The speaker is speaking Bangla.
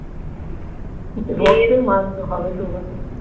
রক্তের মান হবে তো বটেই